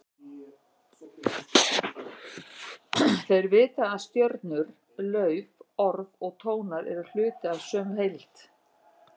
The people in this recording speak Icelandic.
Þeir vita að stjörnur, lauf, orð og tónar eru hluti af sömu heild.